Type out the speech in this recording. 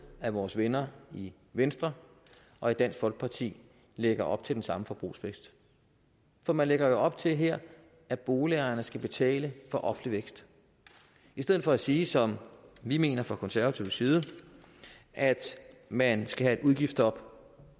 at vores venner i venstre og dansk folkeparti lægger op til den samme forbrugsfest for man lægger jo op til her at boligejerne skal betale for offentlig vækst i stedet for at sige som vi mener fra konservativ side at man skal have et udgiftsstop